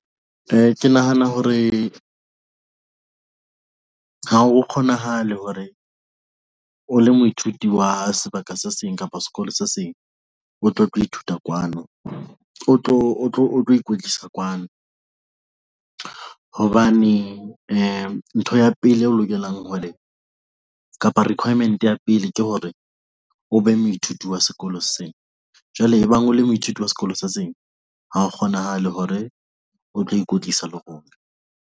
Ke nahana hore ha o kgonahale hore o le moithuti wa sebaka se seng kapa sekolo se seng o tlo tlo ithuta kwano, o tlo o tlo o tlo ikwetlisa kwano hobane ntho ya pele eo lokelang hore kapa requirement ya pele ke hore o be moithuti wa sekolo sena jwale ebang o le moithuti wa sekolo se seng. Ha o kgonahale hore o tlo ikwetlisa le rona.